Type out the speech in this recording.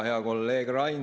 Hea kolleeg Rain!